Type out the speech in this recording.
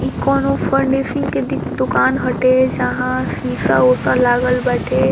इ कोनो फर्निशिंग के द-दुकान हटे जहाँ शीशा-उशा लागल बाटे।